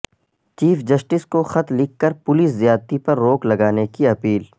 chief justice کو خط لکھ کر پولیس زیادتی پر روک لگانے کی اپیل